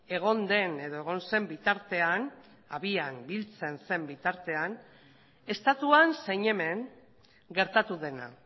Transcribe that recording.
egon den edo egon zen bitartean abian biltzen zen bitartean estatuan zein hemen gertatu dena